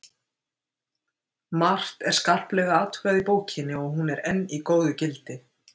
Margt er skarplega athugað í bókinni og hún er enn í góðu gildi.